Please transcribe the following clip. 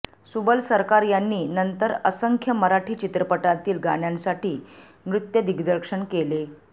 सुबल सरकार यांनी नंतर असंख्य मराठी चित्रपटांतील गाण्यांसाठी नृत्यदिग्दर्शक केले